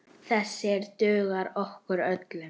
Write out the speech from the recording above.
Þessir duga okkur öllum.